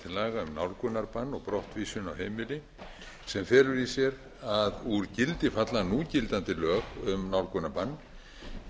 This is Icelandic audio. brottvísun af heimili sem felur í sér að úr gildi falla núgildandi lög um nálgunarbann með